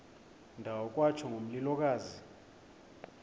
ndawo kwatsho ngomlilokazi